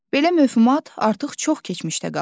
Belə mövhumat artıq çox keçmişdə qalıb.